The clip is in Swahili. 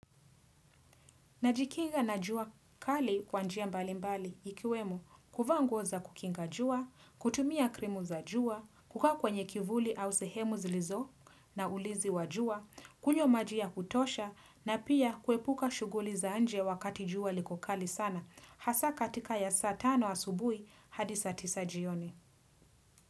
Najikinga na jua kali kwa njia mbalimbali ikiwemo, kuvaa nguo za kukinga jua, kutumia krimu za jua, kukaa kwenye kivuli au sehemu zilizo naulizi wa jua, kunywa maji ya kutosha na pia kuepuka shughuli za nje wakati jua liko kali sana, hasa katika ya saa tano asubuhi hadi saa tisa jioni.